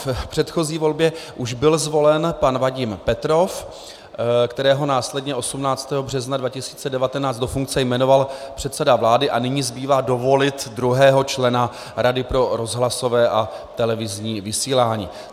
V předchozí volbě už byl zvolen pan Vadim Petrov, kterého následně 18. března 2019 do funkce jmenoval předseda vlády, a nyní zbývá dovolit druhého člena Rady pro rozhlasové a televizní vysílání.